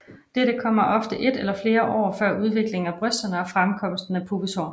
Dette kommer ofte 1 eller flere år før udviklingen af brysterne og fremkomsten af pubeshår